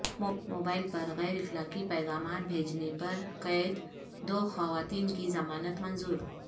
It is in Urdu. موبائل پر غیر اخلاقی پیغامات بھیجنے پر قید دو خواتین کی ضمانت منظور